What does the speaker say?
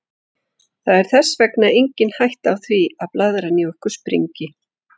Það er þess vegna engin hætta á því að blaðran í okkur springi.